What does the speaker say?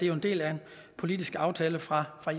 jo en del af en politisk aftale fra